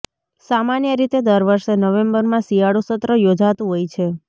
સામાન્ય રીતે દર વર્ષે નવેમ્બરમાં શિયાળુ સત્ર યોજાતું હોય છે